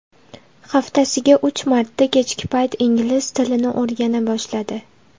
Haftasiga uch marta kechki payt ingliz tilini o‘rgana boshladi.